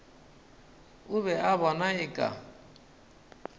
o be a bona eka